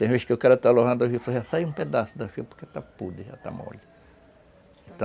Tem vez que o cara está lavando a, já sai um pedaço da porque já está podre, já está mole.